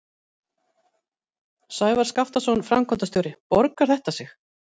Sævar Skaptason, framkvæmdastjóri, borgar þetta sig?